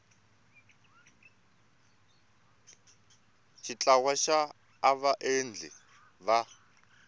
xa ntlawa wa vaendli va